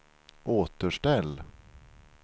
återställ